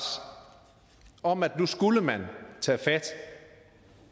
om at nu skulle man